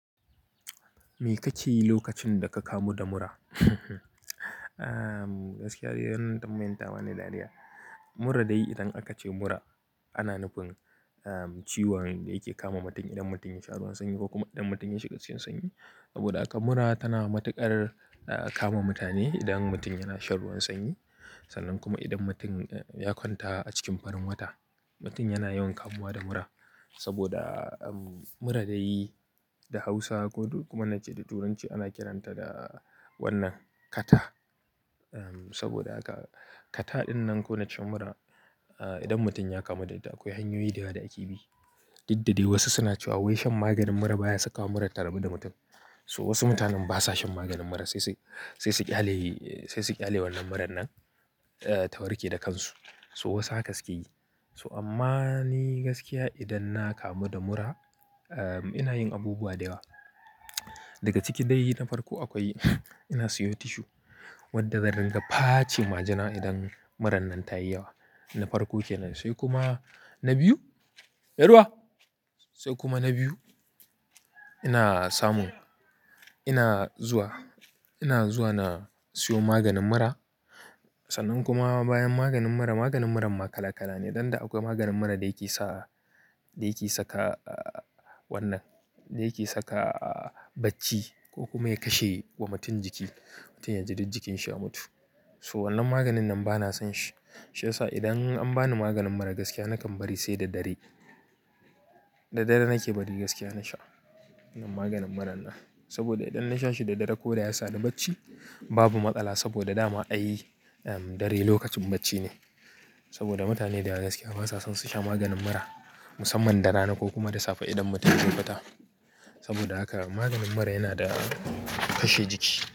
Me ka yi lokacin da ka kamu da mura? Gaskiya dai wannan tambayan ta bani dariya. Mura dai idan aka ce mura ana nufin em ciwon da yake kama mutum idan mutum ya sha ruwan sanyi ko kuma idan mutum ya shiga cikin sanyi. Saboda haka mura tana matuƙar eh kama mutane idan mutum yana shan ruwan sanyi sannan kuma idan mutum ya kwanta a cikin farin wata. Mutum yana yawan kamuwa da mura saboda mura dai da Hausa ko duk kuma na ce da Turanci ana kiranta da wannan kata. Saboda haka kata ɗin nan ko na ce mura, idan mutum ya kamu da ita akwai hanyoyi da yawa da ake bi. Diddade wasu suna cewa wai shan maganin mura baya sakawa murar ta rabu da mutum. To wasu mutanen basa shan maganin mura sai su, sai su ƙyale, sai su ƙyale wannan murar nan eh ta warke da kansu. So wasu haka suke yi. To amma ni gaskiya idan na kamu da mura em ina yin abubuwa da yawa. Daga ciki dai na farko akwai ina siyo tissue wadda dan ringa pace majina idan murar nan ta yi yawa. Na farko ke nan. Sai kuma na biyu. Me ruwa! Sai kuma na biyu ina samun, ina zuwa, ina zuwa na siyo maganin mura. Sannan kuma bayan maganin mura, maganin muran ma kala kala ne. Danda akwai maganin mura da yake sa, da yake saka wannan, da yake saka bacci ko kuma ya kashe wa mutum jiki. Mutum ya ji duk jikinsa ya mutu. So wannan maganin nan bana son shi. Shi yasa idan an bani maganin mura gaskiya nakan bari sai da dare. Da dare nake bari gaskiya na sha wannan maganin muran nan. Saboda idan na sha shi da dare ko da yasa ni bacci babu matsala saboda dama ai em dare lokacin bacci ne. Saboda mutane dayawa gaskiya basa son su sha maganin mura musamman da rana ko kuma da safe idan mutum zai fita. Saboda haka maganin mura yana da kashe jiki.